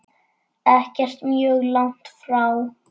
Ekkert mjög langt frá.